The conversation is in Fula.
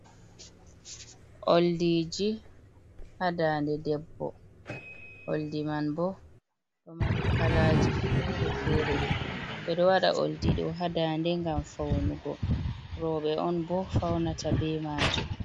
Oldiji, ha dande debbo. Oldi man bo ɗo mari kalaji fere-fere. Ɓe ɗo waɗa oldi ɗo ha daande ngam faunugo. Rowɓe on bo faunata be maajum.